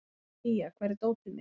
Mía, hvar er dótið mitt?